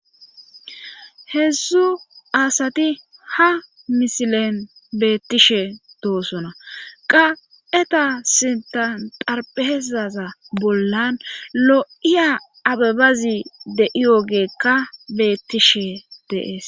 heezzu asati ha misilen beettishe doosona qa'eta sintatarphezaza bollan lo7iya abebazi deiyogeekka bettishe de'es